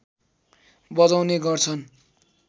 बजाउने गर्छन्